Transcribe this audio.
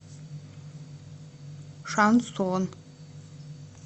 шансон